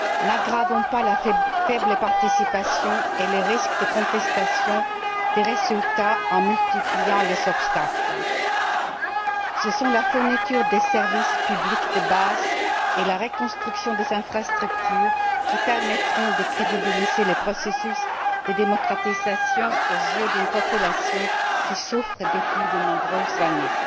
Ne favorisons pas la faible participation et le risque de contestation des résultats en multipliant les obstacles. Ce sont la fourniture des services publics de base et la reconstruction des infrastructures qui permettront de crédibiliser le processus de démocratisation aux yeux d'une population qui souffre depuis de nombreuses années.